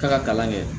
Taa ka kalan kɛ